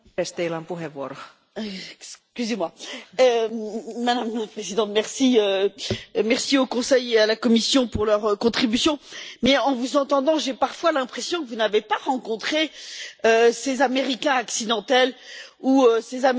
Madame la Présidente, je remercie le Conseil et la Commission pour leur contribution, mais en vous entendant j'ai parfois l'impression que vous n'avez pas rencontré ces Américains accidentels ou ces Américains malgré eux. Ce sont des citoyens européens